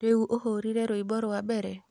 Rĩu ũhũrĩre rwĩmbo rwa mbere